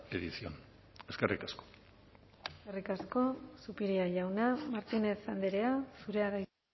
edición eskerrik asko eskerrik asko zupiria jauna martínez andrea zurea da hitza